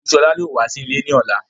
Ọn̄ku Ṣọlá yóò wá sí ilè ní ọlá.